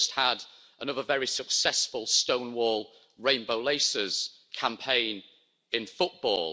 We've just had another very successful Stonewall Rainbow Laces campaign in football.